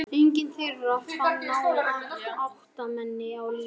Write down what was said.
Enginn þeirra fann náin ættmenni á lífi.